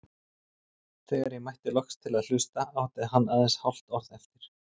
Þegar ég mætti loks til að hlusta átti hann aðeins hálft orð eftir.